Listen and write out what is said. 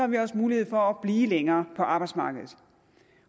vi også mulighed for at blive længere på arbejdsmarkedet